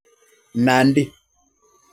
Nandi